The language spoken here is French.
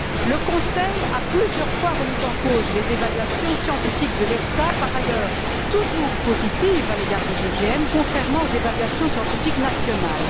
Le Conseil a plusieurs fois remis en cause les évaluations scientifiques de l'EFSA, par ailleurs, toujours positives à l'égard des OGM, contrairement aux évaluations scientifiques nationales.